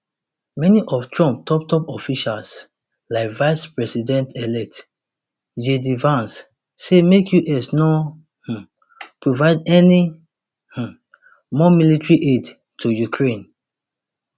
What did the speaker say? many of trump top top officials like vice presidentelect jd vance say make us no um provide any um more military aid to ukraine